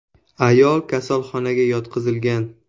Ayol kasalxonaga yotqizilgan.